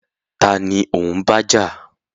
Taàní ó ń bájà?